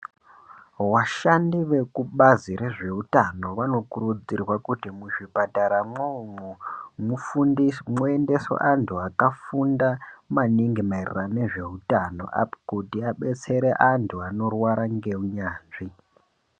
Washandi wekubazi rezveutano vanokurudzirwa kuti muzvipataramwo umwo mwuendeswe antu akafunda maningi maererano nezveutano kuti abetsere antu anorwara negunyanzvi.